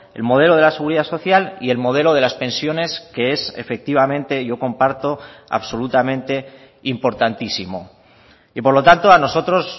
el modelo de la seguridad social y el modelo de las pensiones que es efectivamente yo comparto absolutamente importantísimo y por lo tanto a nosotros